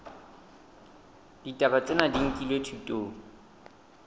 ditaba tsena di nkilwe thutong